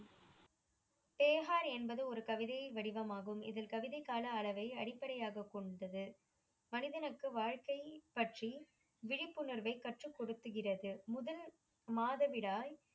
தேஹார் என்பது ஒரு கவிதையின் வடிவமாகும். இதில் கவிதை காண அளவை அடிப்படையாக கொண்டுள்ளது மனிதனுக்கு வாழ்க்கை பற்றி விழிப்புணர்வை கற்றுகொடுகின்றது முதல் மாதவிடாய்